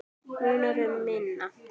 Munar um minna.